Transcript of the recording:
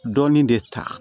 Dɔɔnin de ta